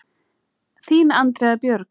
Þín, Andrea Björg.